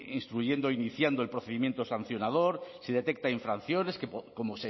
instruyendo iniciando el procedimiento sancionador si detecta infracciones como